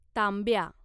तांब्या